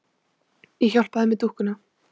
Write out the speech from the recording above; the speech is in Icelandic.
Ég hjálpa þér með dúkkuna.